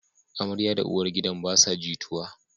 Amaryar da uwar gidan basa jituwa